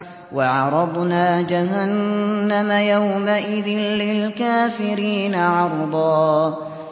وَعَرَضْنَا جَهَنَّمَ يَوْمَئِذٍ لِّلْكَافِرِينَ عَرْضًا